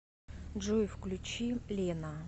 джой включи лена